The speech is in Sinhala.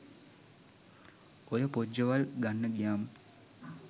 ඔය පොජ්ජවල් ගන්න ගියාම